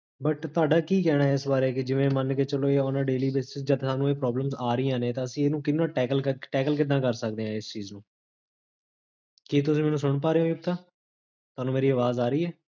but ਤੁਹਾਡਾ ਕੀ ਕਹਨਾ ਹੈ ਏਸ ਬਾਰੇ, ਜਿਵੇਂ ਮਨ ਕੇ ਚੱਲੋ ਇਹ ona daily basis, ਜਦੋ ਤੁਹਾਨੂੰ ਇਹ problems daily basis ਤੇ problems ਜੇਹੜੀਆਂ ਆ ਰਹੀਆਂ ਨੇ, ਤਾਂ ਅਸੀ ਏਹਨੂ ਕਿੰਨਾ tackle ਕਿੱਦਾਂ ਕਰ ਸਕਦੇ ਹਾਂ ਇਸ ਚੀਜ਼ ਨੂੰ? ਕੀ ਤੁਸੀਂ ਮੇਨੂਸੁਨ ਪਾ ਰਹੇ ਹੋ? ਤੁਹਾਨੂ ਮੇਰੀ ਆਵਾਜ਼ ਆ ਰਹੀ ਹੈ?